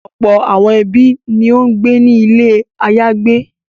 Ọ̀pọ̀ àwọn ẹbí ni ó ń gbé ní ilé àyágbé.